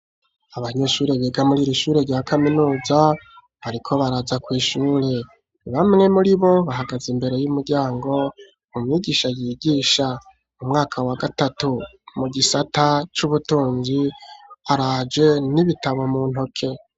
Abanyeshure biga muri iri ishure rya kaminuza bariko baraza kw’ishure bamwe muri bo bahagaze imbere y'umuryango ,umwigisha yigisha umwaka wa gatatu mu gisata c'ubutunzi araje n'ibitabo mu ntoke.